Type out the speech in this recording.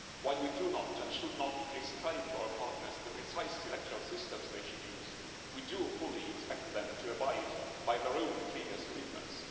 While we do not and should not prescribe to our partners the precise electoral systems they should use, we do fully expect them to abide by their own previous commitments.